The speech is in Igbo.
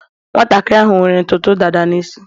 nwantakịrị ahụ nwere ntutu dada n isi